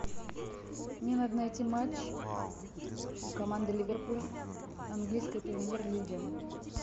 мне надо найти матч команды ливерпуль английской премьер лиги